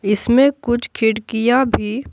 इसमें कुछ खिड़कियां भी--